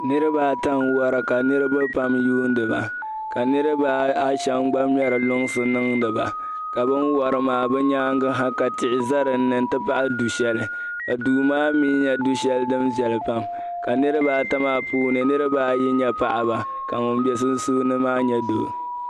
niriba ata n wara ka niriba pam yuniba ka niriba ashem gba ŋmeri lunsi nindiba ka bini wari maa bɛ nyaaŋa ha ka tihi za dinni n ti pahi du'sheli ka duu maa nye du'sheli din viɛli pam ka niriba ata maa puuni ka niriba ayi nyɛ paɣaba ka ŋun be sunsuuni maa nyɛ doo